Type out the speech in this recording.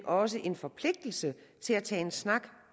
også en forpligtelse til at tage en snak